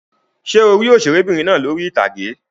Ṣé o rí òṣèré'bìnrin náà lórí ìtàgé?